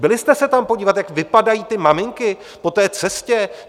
Byli jste se tam podívat, jak vypadají ty maminky po té cestě?